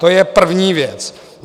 To je první věc.